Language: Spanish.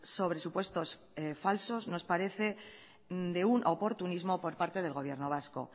sobre supuestos falsos nos parece de un oportunismo por parte del gobierno vasco